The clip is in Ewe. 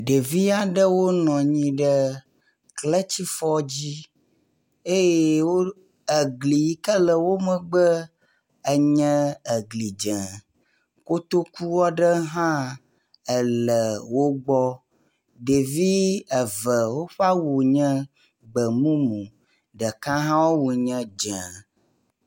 Ɖevi aɖewo nɔ nyi ɖe kletsifɔ dzi eye wo egli yike le wo megbe enye egli dzẽ, kotokua ɖe hã ele wogbɔ. Ɖevi eve woƒe awu nye gbemumu ɖeka hã woawu nye dzẽ.